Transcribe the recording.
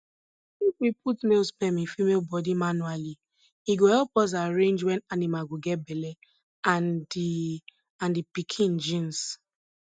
if we put male sperm in female body manually e go help us arrange wen animal go get belle and the and the piken genes